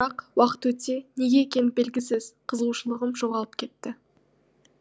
бірақ уақыт өте неге екені белгісіз қызығушылығым жоғалып кетті